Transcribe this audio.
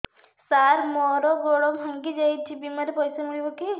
ସାର ମର ଗୋଡ ଭଙ୍ଗି ଯାଇ ଛି ବିମାରେ ପଇସା ମିଳିବ କି